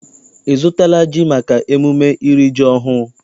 Ị zụtala ji maka emume iri ji ọhụụ?